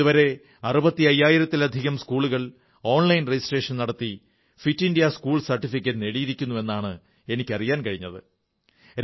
ഇതുവരെ 65000 ലധികം സ്കൂളുകൾ ഓൺലൈൻ രജിസ്ട്രേഷൻ നടത്തി ഫിറ്റ് ഇന്ത്യാ സ്കൂൾ സർട്ടിഫിക്കറ്റ് നേടിയിരിക്കുന്നു എന്നാണ് എനിക്കറിയാൻ കഴിഞ്ഞിട്ടുള്ളത്